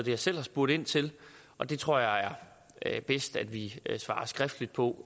jeg selv har spurgt ind til og det tror jeg er bedst at vi svarer skriftligt på